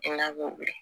N'a b'o